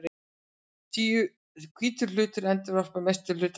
Hvítur hlutur endurvarpar mestum hluta ljóssins.